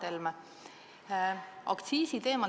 Hea Mart Helme!